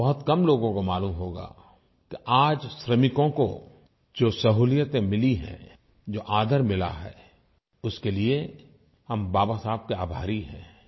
और बहुत कम लोगों को मालूम होगा कि आज श्रमिकों को जो सहुलियतें मिली हैं जो आदर मिला है उसके लिये हम बाबा साहब के आभारी हैं